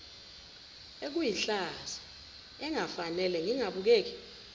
ekuyihlazo engafanele ngengabukeki